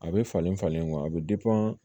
A bɛ falen falen wa a bɛ